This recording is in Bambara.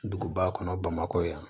Duguba kɔnɔ bamakɔ yan